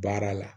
Baara la